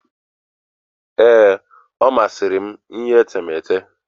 Ee, ọ masịrị m iyi etemeete.